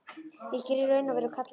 Ég er í raun og veru kallaður.